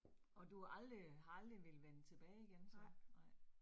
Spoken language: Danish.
Og du har aldrig, har aldrig villet vænne tilbage igen så? Nej